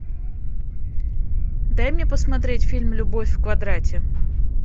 дай мне посмотреть фильм любовь в квадрате